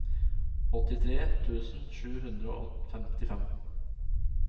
åttitre tusen sju hundre og femtifem